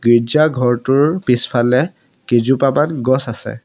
গীৰ্জা ঘৰটোৰ পিছফালে কেইজোপামান গছ আছে।